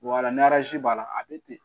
ni b'a la a bɛ ten